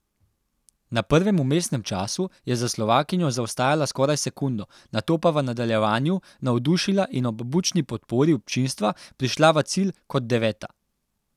Na prvem vmesnem času je za Slovakinjo zaostajala skoraj sekundo, nato pa v nadaljevanju navdušila in ob bučni podpori občinstva prišla v cilj kot deveta.